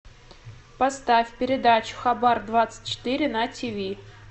поставь передачу хабар двадцать четыре на тв